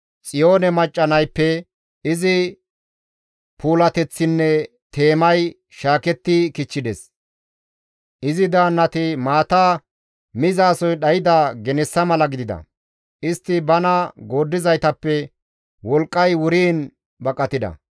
Xiyoone macca nayppe izi puulateththinne teemay shaaketti kichchides; izi daannati maata mizasoy dhayda genessa mala gidida; istti bana gooddizaytappe wolqqay wuriin baqatida.